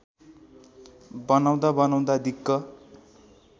बनाउँदा बनाउँदा दिक्क